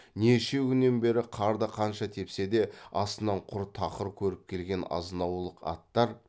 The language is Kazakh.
неше күннен бері қарды қанша тепсе де астынан құр тақыр көріп келген азынаулық аттар